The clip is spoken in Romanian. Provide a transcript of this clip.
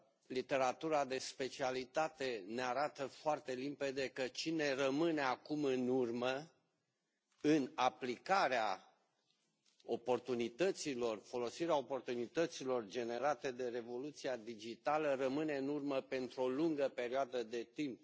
Literatura de specialitate ne arată foarte limpede că cine rămâne acum în urmă în aplicarea oportunităților, folosirea oportunităților generate de revoluția digitală rămâne în urmă pentru o lungă perioadă de timp.